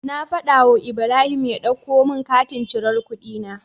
Na fada wu Ibrahim ya ɗauko mun katin cirar kuɗi na